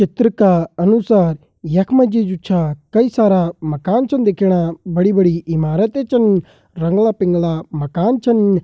चित्र का अनुसार यख मजी जु छ कई सारा मकान चन दिखणा। बड़ी बड़ी इमारतें चन रंगला पिंगला मकान छन।